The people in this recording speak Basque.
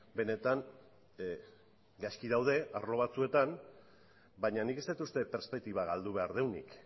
benetan gaizki daude arlo batzuetan baina nik ez dut uste perspektiba galde behar dugunik